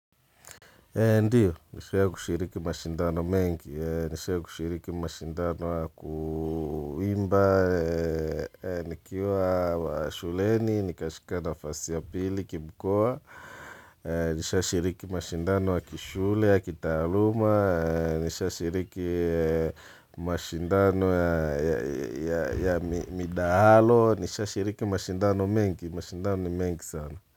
Ndiyo, nishawai kushiriki mashindano mengi, nishawai kushiriki mashindano ya ku imba, nikiwa wa shuleni, nikashika naafasi ya pili, kimkoa, nishawai shiriki mashindano ya kishule, ya kitaaluma, nishawai shiriki mashindano ya midahalo, nishawai shiriki mashindano mengi, mashindano ni mengi sana.